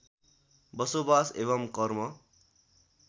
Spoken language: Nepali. बसोवास एवम् कर्म